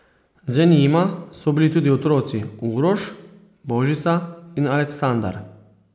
Z njima so bili tudi otroci Uroš, Božica in Aleksandar.